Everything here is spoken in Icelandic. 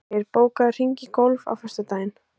Kristgeir, bókaðu hring í golf á föstudaginn.